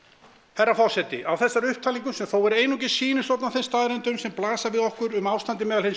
herra forseti á þessari upptalningu sem þó er einungis sýnishorn af þeim staðreyndum sem blasa við okkur um ástandið meðal hins